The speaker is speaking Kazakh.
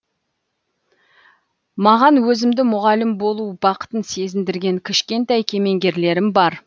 маған өзімді мұғалім болу бақытын сезіндірген кішкентай кемеңгерлерім бар